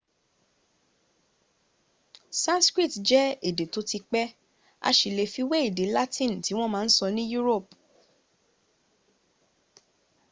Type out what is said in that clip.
sanskrit jẹ́ èdè tó ti pẹ́ a sì lè fi wé èdè latin tí wọ́n ma sọ ní europe